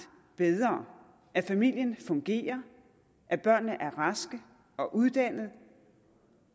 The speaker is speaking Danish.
bedre at familien fungerer at børnene er raske og uddannede